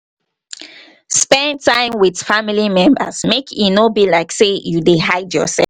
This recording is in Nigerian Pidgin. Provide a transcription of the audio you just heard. spend time with family members make e no be like sey you dey hide yourself